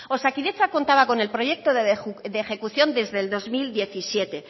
osakidetza contaba con el proyecto de ejecución desde el dos mil diecisiete